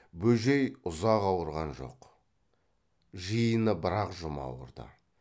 бөжей ұзақ ауырған жоқ жиыны бір ақ жұма ауырды